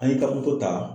An ye kabako ta